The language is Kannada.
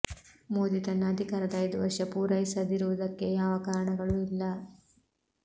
ಮೋದಿ ತನ್ನ ಅಧಿಕಾರದ ಐದು ವರ್ಷ ಪೂರೈಸದಿರುವುದಕ್ಕೆ ಯಾವ ಕಾರಣಗಳೂ ಇಲ್ಲ